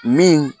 Min